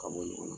Ka bɔ ɲɔgɔn na